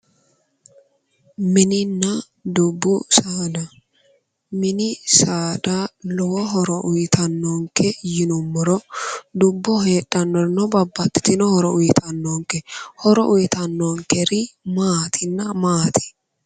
Mininna dubbu saada, mini saada lowo horo uyittanonke yinnuummoro , dubboho heedhanorino babbaxitino horo uyittanonke horo uyittanonkeri maatinna, maati ?